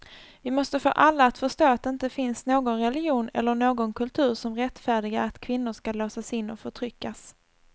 Vi måste få alla att förstå att det inte finns någon religion eller någon kultur som rättfärdigar att kvinnor ska låsas in och förtryckas.